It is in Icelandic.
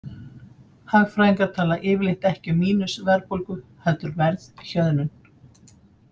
Hagfræðingar tala yfirleitt ekki um mínus-verðbólgu heldur verðhjöðnun.